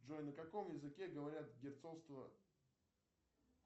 джой на каком языке говорят герцогство